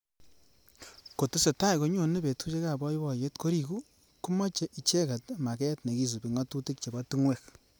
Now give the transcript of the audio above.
Kotesetai konyonei betushek ab boiboyet koriku komeche icheket maket nekisubi ngatutik chebo tungwek